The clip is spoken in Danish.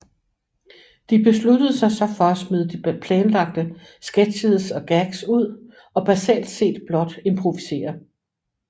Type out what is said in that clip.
De besluttede sig så for at smide de planlagte sketches og gags ud og basalt set blot improvisere